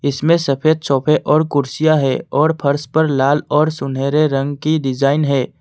इसमें सफेद सोफे और कुर्सियां है और फर्श पर लाल और सुनहरे रंग की डिजाइन है।